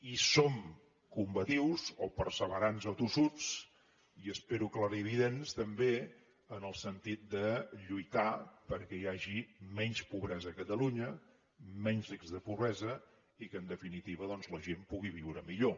i som combatius o perseverants o tossuts i espero clarividents també en el sentit de lluitar perquè hi hagi menys pobresa a catalunya menys risc de pobresa i que en definitiva doncs la gent pugui viure millor